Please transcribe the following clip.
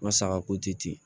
N ka saga ko ti ten